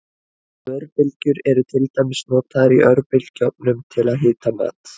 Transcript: Örbylgjur eru til dæmis notaður í örbylgjuofnum til að hita mat.